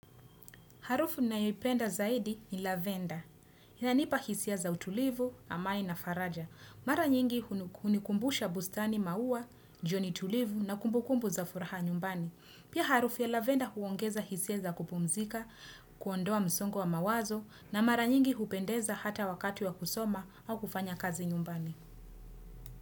Harufu ninayoipenda zaidi ni Lavenda. Inanipa hisia za utulivu, amani na faraja. Mara nyingi hunikumbusha bustani maua, jioni tulivu na kumbukumbu za furaha nyumbani. Pia harufu ya Lavenda huongeza hisia za kupumzika, kuondoa msongo wa mawazo na mara nyingi hupendeza hata wakati wa kusoma au kufanya kazi nyumbani.